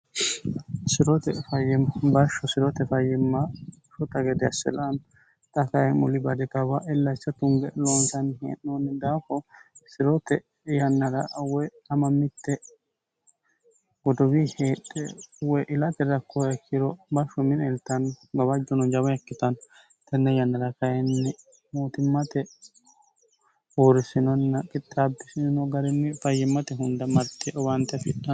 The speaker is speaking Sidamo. sirote fayyima bashsho sirote fayyimma shota gede asselami xa kayi muli badi kawa illahcha tunge loonsanni hee'noonni daako siroote yannara woy ama mitte godowii heedhe woy ilati rakkora kiro bashsho minieltanni gobajjuno jabo ikkitanno tenne yannara kayinni mootimmate huurrisinonna kitxaabbisino garinni fayyimmate hunda marte owaante fidhanno